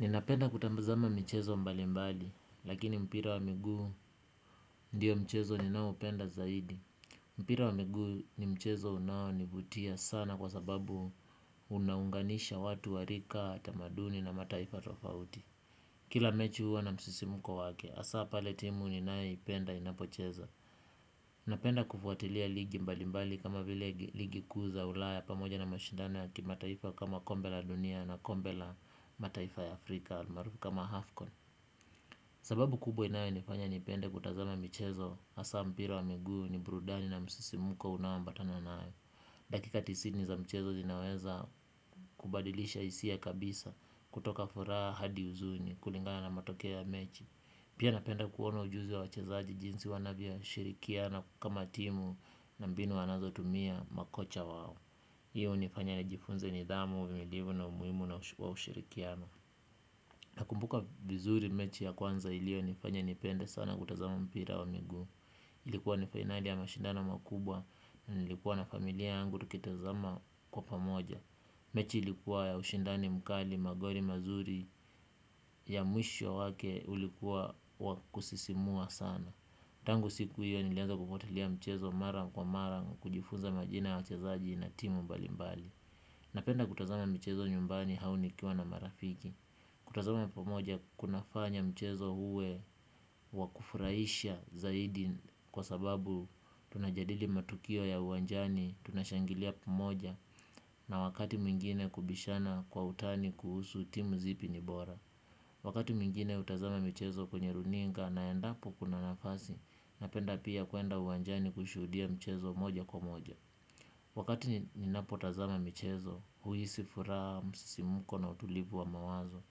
Ninapenda kutazama michezo mbalimbali, lakini mpira wa miguu ndiyo mchezo ninaopenda zaidi. Mpira wa miguu ni mchezo unaonivutia sana kwa sababu unaunganisha watu wa rika tamaduni na mataifa tofauti. Kila mechi huwa na msisimko wake, hasaa pale timu ninayoipenda inapocheza. Napenda kufuatilia ligi mbalimbali kama vile ligi kuu za ulaya pamoja na mashindano ya kimataifa kama kombe la dunia na kombe la mataifa ya Afrika almaarufu kama Afcon. Sababu kubwa inayonifanya nipende kutazama michezo hasaa mpira wa miguu ni burudani na msisimko unaoambatana nayo. Dakika tisini za mchezo zinaweza kubadilisha hisia kabisa kutoka furaha hadi huzuni kulingana na matokea ya mechi. Pia napenda kuona ujuzi wa wachezaji jinsi wanavyoshirikiana kama timu na mbinu wanazotumia makocha wao. Hiyo hunifanya nijifunze nidhamu, uvumilivu na umuhimu na wa ushirikiano. Nakumbuka vizuri mechi ya kwanza ilionifanya nipende sana kutazama mpira wa miguu. Ilikuwa ni fainali ya mashindano makubwa nilikuwa na familia yangu tukitazama kwa pamoja. Mechi ilikuwa ya ushindani mkali magoli mazuri ya mwisho wake ulikuwa wa kusisimua sana. Tangu siku hiyo nilianza kufuatilia mchezo mara kwa mara kujifunza majina ya wachezaji na timu mbalimbali. Napenda kutazama michezo nyumbani au nikiwa na marafiki. Kutazama pamoja kunafanya mchezo uwe wa kufurahisha zaidi kwa sababu tunajadili matukio ya uwanjani, tunashangilia pamoja na wakati mwingine kubishana kwa utani kuhusu timu zipi ni bora. Wakati mwingine hutazama michezo kwenye runinga na endapo kuna nafasi napenda pia kuenda uwanjani kushuhudia mchezo moja kwa moja. Wakati ninapotazama michezo, huhisi furaha, msisimko na utulivu wa mawazo.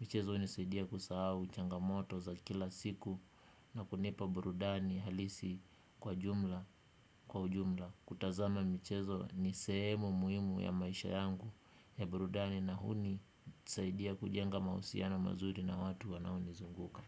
Michezo hunisaidia kusahau, changamoto za kila siku na kunipa burudani halisi kwa jumla, kwa ujumla. Kutazama michezo ni sehemu muhimu ya maisha yangu ya burudani na hunisaidia kujenga mahusiano mazuri na watu wanaonizunguka.